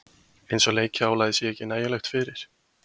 Eins og leikjaálagið sé ekki nægilegt fyrir?